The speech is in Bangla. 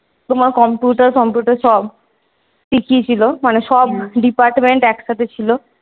তোমার computer computer সব? শিখিয়েছিল মানে সব department একসাথে ছিল।